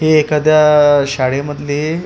हि एखाद्या शाळेमधली लॅब दि--